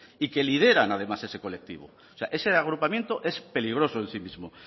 y que lideran además ese colectivo o sea ese agrupamiento es peligroso en sí mismo